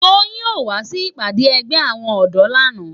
Toyin ó wá si ipàdá ègbé áwòn òdò làná